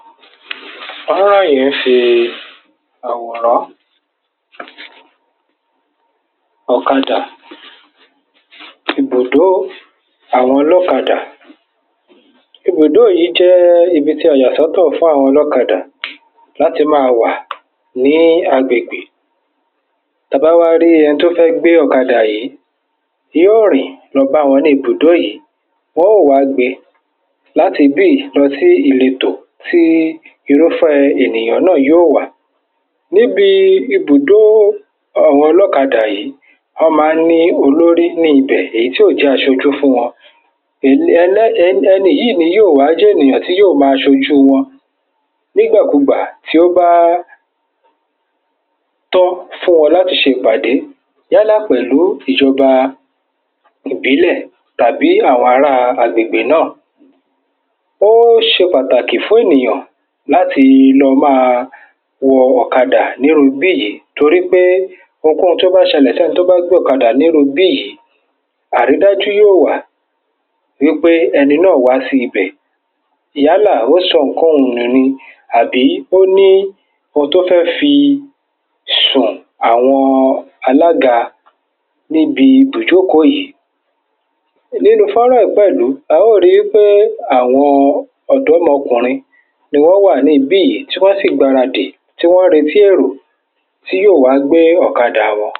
fónrán yíì fi àwòrán ọ́kadà, ibùdó àwọn ọlọ́kadà, ibùdó yìí jẹ́ ibi tí a yà sọ́tọ̀ fún àwọn ọlọ́kadà láti bí yìí lọsí ìletò, sí irúfẹ́ ènìyàn náà yóò wà, níbi ibùdó àwọn ọlọ́kadà yìí, wọ́n ma ń ní olórí ní ibẹ̀, èyí tí ó jẹ́ asojú fún wọn, um ẹni yìí ni yó wá jẹ́ ènìyàn tí yóò ma sojú wọn, nígbà kúgbà tí ó bá tó fún wọn láti se ìpàdé yálà pẹ̀lú ìjọba ìbílẹ̀ tàbí àwọn ará agbègbè náà,, ó se pàtàkì fún ènìyàn láti lo máa wọ ọ́kadà ní irú bí yìí torí pé oun kóun tó bá ṣẹlẹ̀, tí ẹgbẹ́ ọ́kadà ní irú bí yìí, á rí dájú yóò wà wípé ẹni náà wá sí ibẹ̀ yálà ó sọ ǹkan nù ni tàbí ó ní oun tó fẹ́ fi sùn, àwọn alága níbi ibú jókòó yíì, nínu fónrán yíì pẹ̀lú, a ó ri pé àwọn ọ̀dọ́mọkùnrin ni wọ́n wà ní ibì yìí, tí wọ́n sì gbáradì, tí wọ́n retí èrò tí yóò wá gbé ọ́kadà wọn.